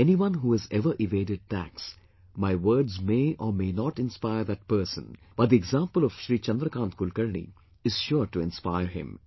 Anyone who has ever evaded tax, my words may or may not inspire that person, but the example of Shri Chandrakant Kulkarni is sure to inspire him